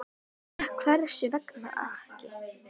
Því að hvers vegna ekki?